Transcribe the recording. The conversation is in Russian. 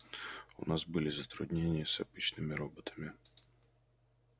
у нас были затруднения с обычными роботами